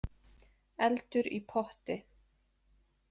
Eldur í potti